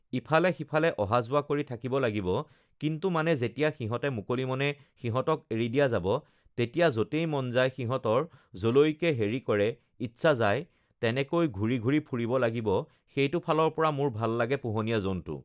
ইফালে সিফালে অহা-যোৱা কৰি থাকিব লাগিব কিন্তু মানে যেতিয়া সিহঁতে মুকলি মনে সিহঁতক এৰি দিয়া যাব তেতিয়া য'তেই মন যায় সিহঁতৰ য'লৈকে হেৰি কৰে ইচ্ছা যায় তেনেকৈ ঘূৰি ঘূৰি ফুৰিব লাগিব সেইটো ফালৰ পৰা মোৰ ভাল লাগে পোহনীয়া জন্তু